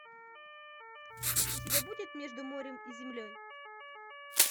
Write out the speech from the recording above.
у тебя будет между морем и землей